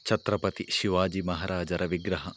ಛತ್ರಪತಿ ಶಿವಾಜಿ ಮಹಾ ರಾಜರ ವಿಗ್ರಹ ..